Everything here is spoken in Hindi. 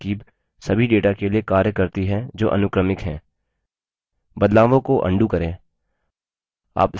यह तरकीब सभी data के लिए कार्य करती है जो अनुक्रमिक हैं बदलावों को undo करें